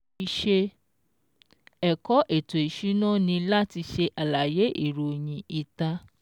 Ìṣe ẹ̀kọ́ ètò ìsúná ni láti ṣe àlàyé ìròyìn ìta